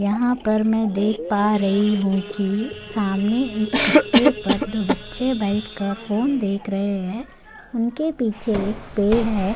यहा पर मैं देख पा रही हू कि सामने एक कट्टे पर दो बच्चे बैठकर फोन देख रहे है उनके पीछे एक पेड़ है।